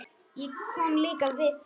Ég kom líka við það.